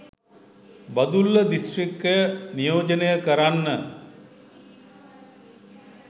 බදුල්ල දිස්ත්‍රික්කය නියෝජනය කරන්න